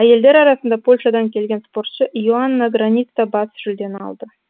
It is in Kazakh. әйелдер арасында польшадан келген спортшы и оанна граница бас жүлдені алды